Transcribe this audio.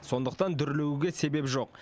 сондықтан дүрлігуге себеп жоқ